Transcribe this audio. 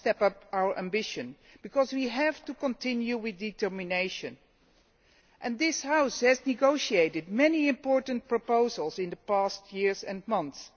Rather, we must step up our ambition, because we have to continue with determination. This House has negotiated many important proposals in the past years and months.